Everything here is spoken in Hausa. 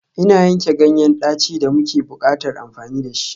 Ina yanke ganyen daci da muke buƙatar amfani da shi.